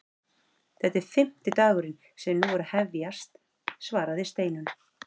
Þetta er fimmti dagurinn sem nú er að hefjast svaraði Steinunn.